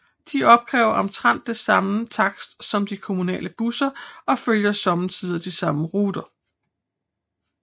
De opkræver omtrent den samme takst som de kommunale busser og følger sommetider de samme ruter